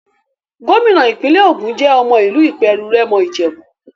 Gómìnà ìpínlẹ̀ Ògùn jẹ́ ọmọ ìlú Ìpèrù-Rẹ́mọ Ìjèbú.